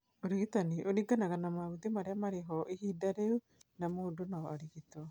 Ũrigitani ũringanaga na maũthĩ marĩa marĩ ho ihinda rĩu na mũndũ no arigitwo